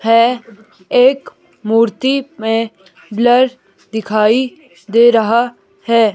है एक मूर्ति में ब्लर दिखाई दे रहा है।